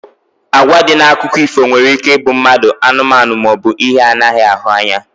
Agwa dị na akụkọ ifo nwere ike ịbụ mmadụ, anụmanụ maọbụ ihe anaghị ahụ anya